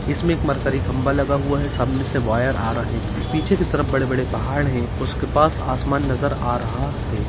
इसमें एक मरकरी खम्भा लगा हुआ है सामने से वायर आ रहे हैं पीछे के तरफ बड़े बड़े पहाड़ हैं उसके पास आसमान नजर आ रहा है।